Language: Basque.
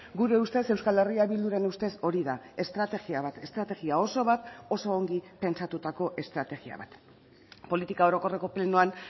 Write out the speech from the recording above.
gure ustez euskal herria bilduren ustez hori da estrategia bat estrategia oso bat oso ongi pentsatutako estrategia bat politika orokorreko plenoan